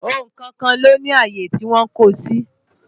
Ohun kọ̀ọ̀kan ló ní àyè tí wọ́n ń kó o sí